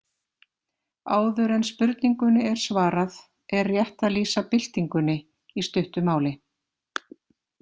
Áður en spurningunni er svarað er rétt að lýsa „byltingunni“ í stuttu máli.